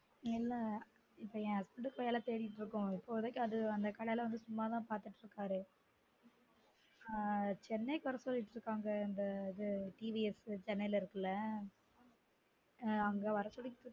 இல்ல இப்ப என் husband க்கு வேல தேடிட்டு இருக்கோம் இப்போதைக்கு அந்த கடைல வந்து சும்மா தான் பார்த்துட்டுருக்காரு ஆஹ் chennai க்கு வர சொல்லிட்டு இருக்காங்க இந்த இது tvs chennai ல இருக்குல அஹ் அங்க வர சொல்லி